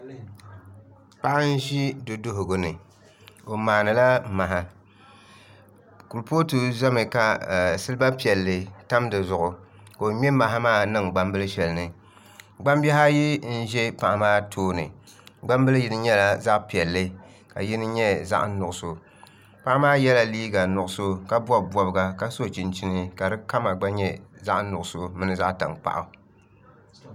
Paɣa n ʒi du duɣugu ni o maanila maha kurifooti ʒɛmi ka silba piɛlli tam dizuɣu ka o ŋmɛ maha maa niŋ gbambili shɛli ni gbambihi ayi n ʒɛ paɣa maa tooni gbambili yini nyɛla zaɣ piɛlli ka yini nyɛ zaɣ nuɣso paɣa maa yɛla liiga nuɣso ka bob bobga ka yɛ liiga ka di kama gba nyɛ zaɣ nuɣso mini zaɣ tankpaɣu